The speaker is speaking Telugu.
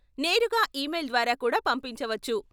నేరుగా ఈమెయిల్ ద్వారా కూడా పంపించవచ్చు.